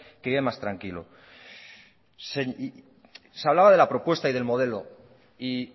que vive más tranquilo se hablaba de la propuesta y del modelo y